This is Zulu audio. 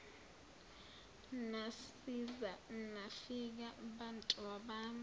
nasiza nafika bantabami